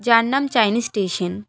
যার নাম Chinese station.